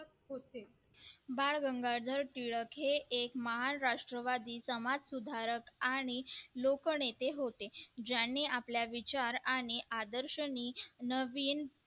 बाळ गंगाधर टिळक हे एक महान राष्ट्रवादी समाज सुधारक आणि लोकनेते होते ज्यांनी आपला विचार आणि आदर्श नीच